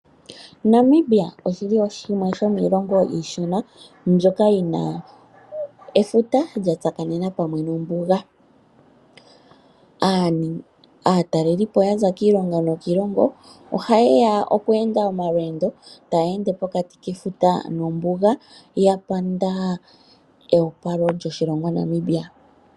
Namibia oshili shimwe sho miilongo iishona mbyoka yina efuta lya tsakanena pamwe nombuga ,aatalelipo yaza kiilongo nokiilongo oha yeya okweenda omalweendo tayeende pokati kefuta nombuga ya panda ewopalo lyoshilongo Namibia.